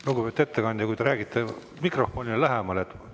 Lugupeetud ettekandja, ehk te räägite mikrofonidele lähemal.